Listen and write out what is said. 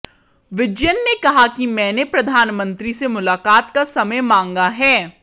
विजयन ने कहा कि मैंने प्रधानमंत्री से मुलाकात का समय मांगा है